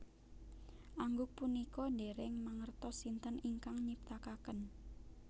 Angguk punika dèrèng mangertos sinten ingkang nyiptakaken